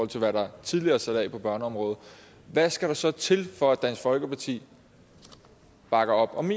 til hvad der tidligere er sat af på børneområdet hvad skal der så til for at dansk folkeparti bakker op om